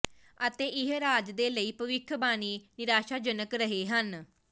ਅਤੇ ਇਹ ਰਾਜ ਦੇ ਲਈ ਭਵਿੱਖਬਾਣੀ ਨਿਰਾਸ਼ਾਜਨਕ ਰਹੇ ਹਨ